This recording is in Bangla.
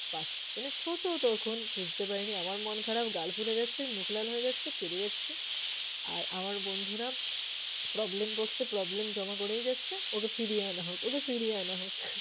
মানে ছোট তখন, বুঝতে পারিনি। আমার মন খারাপ গাল ফুলে যাচ্ছে মুখ লাল হয়ে যাচ্ছে, কেঁদে যাচ্ছি। আর আমার বন্ধুরা problem box এ problem জমা করেই যাচ্ছে, ওকে ফিরিয়ে আনা হোক, ওকে ফিরিয়ে আনা হোক।